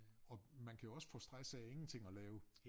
Og man kan jo også få stress af ingenting at lave